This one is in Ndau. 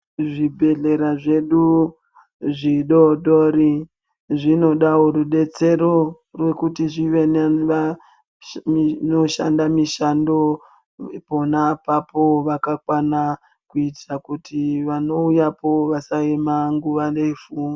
Zvibhedhlera zvedu zvidodori zvinodavo rubetsero rekuti zvive nevanoshanda mishando pona apapo vakakwana. Kuitira kuti vanouyapo vasaema nguva refu.